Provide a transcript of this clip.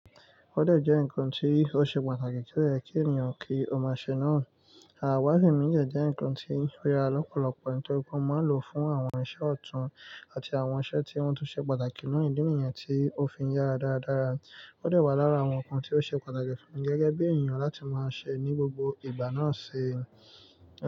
Ó dẹ̀ jẹ́ ǹkan tí ó ṣe pàtàkì, ti oye kí eniyen ki o maa ṣe náà. Àwàsi mí de ǹkan tí óya lọ́pọ̀lọpọ̀ nítorí pé ó máa ń lò fún àwọn iṣẹ́ ọ̀tún, àti àwọn iṣẹ́ tí wọn tó ṣe pàtàkì nínú ìdí nìyẹn tí ó fi yára dáradára. Ó dẹ̀ wà lára àwọn ǹkan tí ó ṣe pàtàkì fún gẹ́gẹ́ bí èèyàn láti máa ṣe ní gbogbo ìgbà náà ṣi.